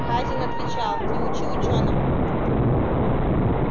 хазин отвечал не учи учёного